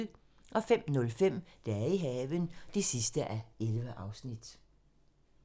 05:05: Dage i haven (11:11)